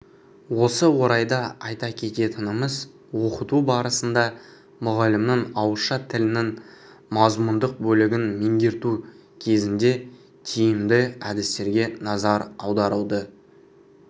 осы орайда айта кететініміз оқыту барысында мұғалімнің ауызша тілінің мазмұндық бөлігін меңгерту кезіндетиімді әдістерге назар аударылды